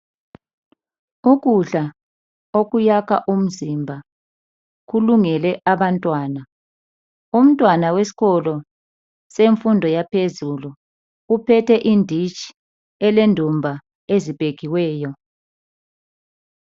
Ukudla okuyakha umzimba kulungele abantwana. Umntwana wesikolo semfundo yaphezulu uphethe inditshi elendumba eziphekiweyo.